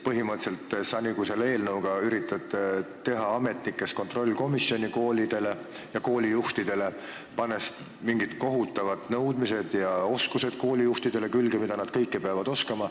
Põhimõtteliselt sa nagu üritad teha ametnikest komisjoni koolide ja koolijuhtide kontrollimiseks, esitades koolijuhtidele mingeid kohutavaid nõudmisi, mida kõike nad peavad oskama.